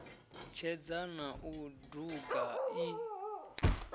tshedza na u duga i